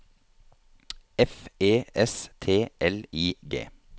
F E S T L I G